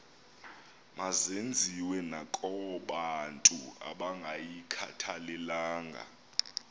mazenziwe nakobantu abangayikhathalelanga